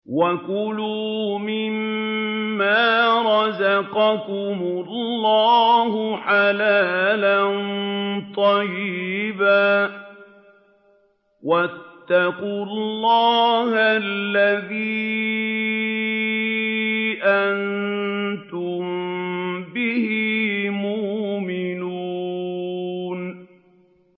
وَكُلُوا مِمَّا رَزَقَكُمُ اللَّهُ حَلَالًا طَيِّبًا ۚ وَاتَّقُوا اللَّهَ الَّذِي أَنتُم بِهِ مُؤْمِنُونَ